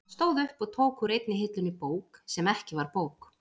Hann stóð upp og tók úr einni hillunni bók sem ekki var bók.